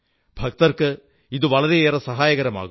ഭക്തർക്ക് ഇത് വളരെയേറെ സഹായകമാകും